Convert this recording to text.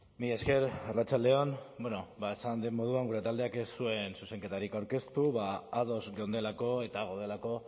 mila esker arratsalde on bueno ba esan den moduan gure taldeak ez zuen zuzenketarik aurkeztu ba ados geundelako eta gaudelako